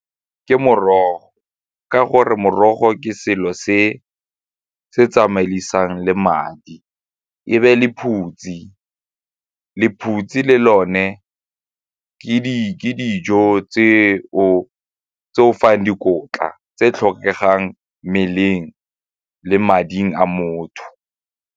Ke morogo, ka gore morogo ke selo se se tsamaisang le madi e be lephutse, lephutse le lone ke dijo tse o fang dikotla tse tlhokegang mmeleng le mading a motho.